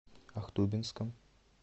ахтубинском